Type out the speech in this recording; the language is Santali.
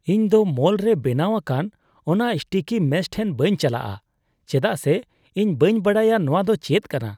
ᱤᱧᱫᱚ ᱢᱚᱞ ᱨᱮ ᱵᱮᱱᱟᱣ ᱟᱠᱟᱱ ᱚᱱᱟ ᱥᱴᱤᱠᱤ ᱢᱮᱥ ᱴᱷᱮᱱ ᱵᱟᱹᱧ ᱪᱟᱞᱟᱜᱼᱟ ᱪᱮᱫᱟᱜ ᱥᱮ ᱤᱧ ᱵᱟᱹᱧ ᱵᱟᱰᱟᱭᱟ ᱱᱚᱶᱟᱫᱚ ᱪᱮᱫ ᱠᱟᱱᱟ ᱾